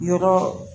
Yɔrɔ